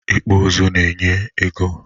Ịkpụ ụzụ na-enye ya ego.